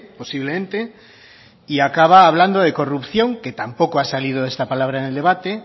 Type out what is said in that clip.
posiblemente y acaba hablando de corrupción que tampoco ha salido esta palabra en el debate